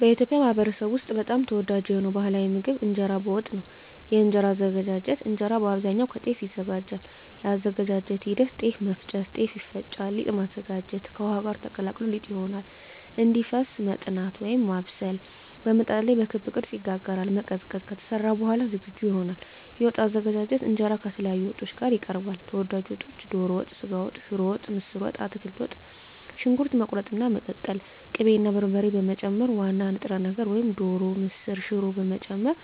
በኢትዮጵያ ማኅበረሰብ ውስጥ በጣም ተወዳጅ የሆነው ባሕላዊ ምግብ እንጀራ በወጥ ነው። የእንጀራ አዘገጃጀት እንጀራ በአብዛኛው ከጤፍ ይዘጋጃል። የአዘገጃጀት ሂደት ጤፍ መፍጨት – ጤፍ ይፈጫል ሊጥ ማዘጋጀት – ከውሃ ጋር ተቀላቅሎ ሊጥ ይሆናል እንዲፈስ መጥናት (ማብሰል) – በምጣድ ላይ በክብ ቅርጽ ይጋገራል መቀዝቀዝ – ከተሰራ በኋላ ዝግጁ ይሆናል የወጥ አዘገጃጀት እንጀራ ከተለያዩ ወጦች ጋር ይቀርባል። ተወዳጅ ወጦች ዶሮ ወጥ ስጋ ወጥ ሽሮ ወጥ ምስር ወጥ አትክልት ወጥ . ሽንኩርት መቁረጥና መቀቀል ቅቤ እና በርበሬ መጨመር ዋና ንጥረ ነገር (ዶሮ፣ ምስር፣ ሽሮ…) መጨመር